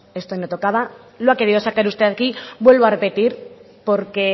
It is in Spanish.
esto hoy no tocaba lo ha querido sacar usted aquí vuelvo a repetir porque